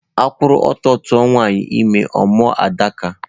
A kwuru ọtọ tuwa nwanyị ime, ọ mụọ Adaka